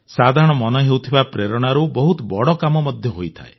ସାଧାରଣ ମନେହେଉଥିବା ପ୍ରେରଣାରୁ ବହୁତ ବଡ଼ କାମ ମଧ୍ୟ ହୋଇଯାଏ